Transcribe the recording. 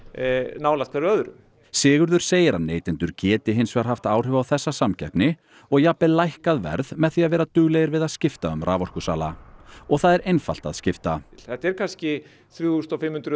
nálægt hver öðrum Sigurður segir að neytendur geti hins vegar haft áhrif á þessa samkeppni og jafnvel lækkað verð með því að vera duglegir við að skipta um raforkusala og það er einfalt að skipta þetta eru kannski þrjú þúsund og fimm hundruð